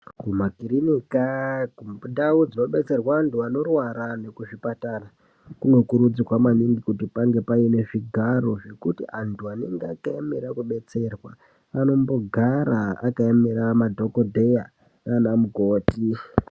Kumakirinika kundau dzinodetserwe anthu anorwara nekuzvipatara kunokurudzirwa maningi kuti pange paine zvigaro zvekuti anthu anenge akaemere kudetserwa anombogara akaemera madhokodheya nanamukoti.